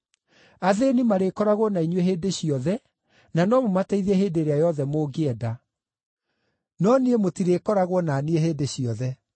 Athĩĩni marĩkoragwo na inyuĩ hĩndĩ ciothe na no mũmateithie hĩndĩ ĩrĩa yothe mũngĩenda. No niĩ mũtirĩkoragwo na niĩ hĩndĩ ciothe.